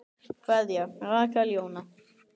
Kveðja, Rakel Jóna.